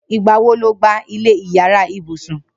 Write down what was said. Nigbà wó ló gbá ilẹ iyàrá ibùsùn